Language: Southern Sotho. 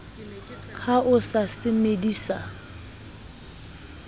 ha o sa se medisa